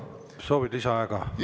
Kas soovid lisaaega?